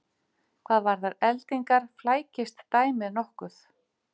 Hvað varðar eldingar flækist dæmið nokkuð.